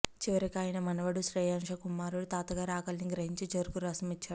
చివరికి ఆయన మనవడు శ్రేయాంశ కుమారుడు తాతగారి ఆకలిని గ్రహించి చెరుకురసం ఇచ్చాడు